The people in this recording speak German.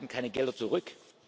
Wir halten keine Gelder zurück.